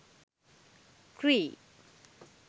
cri